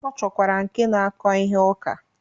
Ọ chọkwara nke na-akọ ihe ụka.